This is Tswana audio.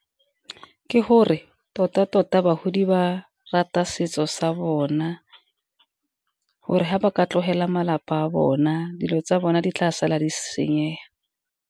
Ke gore tota tota bagodi ba rata setso sa bona, gore ga ba ka tlogela malapa a bona dilo tsa bona di tla sa la di senyega.